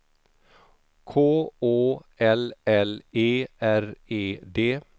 K Å L L E R E D